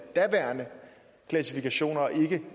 daværende klassifikationer og ikke er